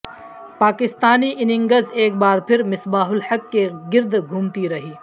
Pakistani innings ایک بار پھر مصباح الحق کے گرد گھومتی رہی